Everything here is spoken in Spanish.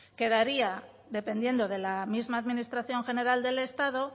quedaría dependiendo de la misma administración general del estado